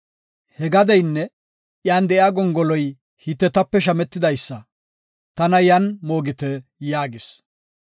He gadeynne iyan de7iya gongoloy Hitetape shametidaysa. Tana yan moogite” yaagis.